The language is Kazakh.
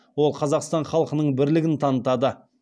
ол қазақстан халқының бірлігін танытады